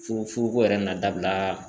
Fo furuko yɛrɛ na dabila